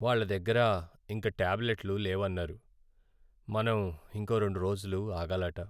వాళ్ళ దగ్గర ఇంక టాబ్లెట్లు లేవన్నారు. మనం ఇంకో రెండు రోజులు ఆగాలట.